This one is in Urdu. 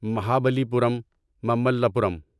مہابلی پورم مملا پورم